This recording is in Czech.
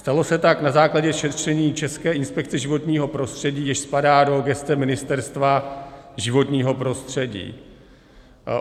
Stalo se tak na základě šetření České inspekce životního prostředí, jež spadá do gesce Ministerstva životního prostředí.